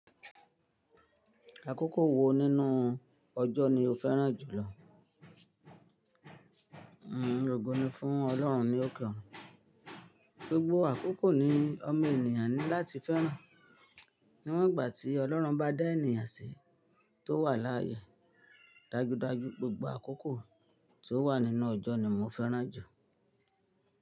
Àkókò wo nínú ọjọ́ ni o fẹ́ràn jùlọ? Ògo ni fún Ọlọ́run ni óke orun. Gbogbo àkókò ni ọmọ ènìyàn ní láti fẹ́ràn. Níwọ́n ìgbà tí Ọlọ́run bá dá ènìyàn sí tó wà láyè, dájúdájú gbogbo àkókò tí ó wà nínú ọjọ́ ni mo fẹ́ràn jù.